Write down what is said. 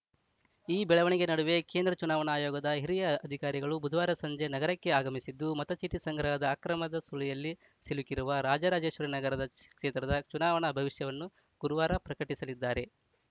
ಈ ಬೆಳವಣಿಗೆ ನಡುವೆ ಕೇಂದ್ರ ಚುನಾವಣಾ ಆಯೋಗದ ಹಿರಿಯ ಅಧಿಕಾರಿಗಳು ಬುಧವಾರ ಸಂಜೆ ನಗರಕ್ಕೆ ಆಗಮಿಸಿದ್ದು ಮತಚೀಟಿ ಸಂಗ್ರಹದ ಅಕ್ರಮದ ಸುಳಿಯಲ್ಲಿ ಸಿಲುಕಿರುವ ರಾಜರಾಜೇಶ್ವರಿನಗರ ಸಿ ಕ್ಷೇತ್ರದ ಚುನಾವಣಾ ಭವಿಷ್ಯವನ್ನು ಗುರುವಾರ ಪ್ರಕಟಿಸಲಿದ್ದಾರೆ